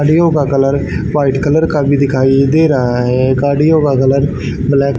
गाड़ियों का colour white colour का भी दिखाई दे रहा है गाड़ियों का कलर ब्लैक --